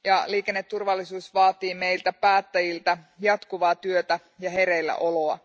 Liikenneturvallisuus vaatii meiltä päättäjiltä jatkuvaa työtä ja hereillä oloa.